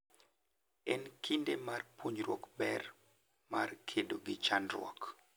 En kinde mar puonjruok ber mar kedo gi chandruok.